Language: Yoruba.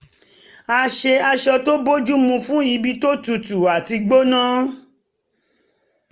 ó ṣe aṣọ tó bójú mu fún ibi tó tutu àti gbóná